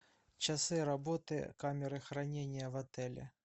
часы работы камеры хранения в отеле